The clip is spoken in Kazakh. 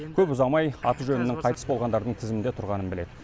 көп ұзамай аты жөнінің қайтыс болғандардың тізімінде тұрғанын біледі